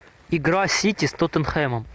игра сити с тоттенхэмом